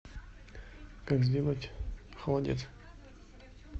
как сделать холодец